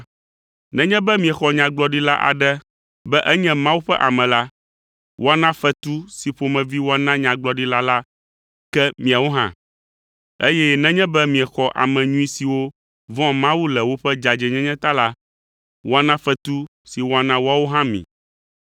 Nenye be miexɔ Nyagblɔɖila aɖe be enye Mawu ƒe ame la, woana fetu si ƒomevi woana Nyagblɔɖila la ke miawo hã, eye nenye be miexɔ ame nyui siwo vɔ̃a Mawu le woƒe dzadzɛnyenye ta la, woana fetu si woana woawo hã mi.